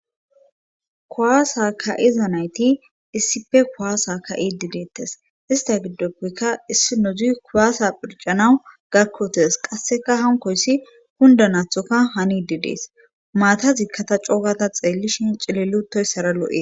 kuwaasa ka7iza nayti issipe kuwaasa ka7idi deettes ista giddoppekka issi nozi kuwaasa phircanawu gakkotes qasseka hankoyssi hundanathoka hani di dees maata zikkata coogata xeellishin cilil utoyssara lo7ees